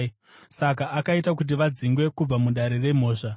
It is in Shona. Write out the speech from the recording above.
Saka akaita kuti vadzingwe kubva mudare remhosva.